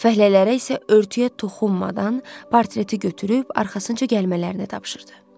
Fəhlələrə isə örtüyə toxunmadan portreti götürüb arxasınca gəlmələrini tapşırdı.